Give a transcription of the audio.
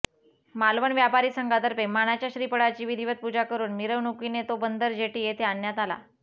मालवण व्यापारी संघातर्फे मानाच्या श्रीफळाची विधीवत पूजा करून मिरवणुकीने तो बंदर जेटी येथे आणण्यात आला